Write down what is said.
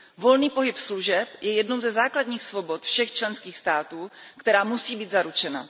Volný pohyb služeb je jednou ze základních svobod všech členských států, která musí být zaručena.